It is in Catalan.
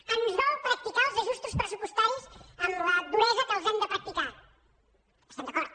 ens dol practicar els ajustos pressupostaris amb la duresa amb què els hem de practicar estem d’acord